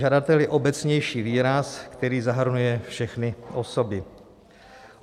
Žadatel je obecnější výraz, který zahrnuje všechny osoby.